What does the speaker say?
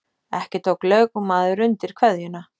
Ekki tók lögmaður undir kveðjur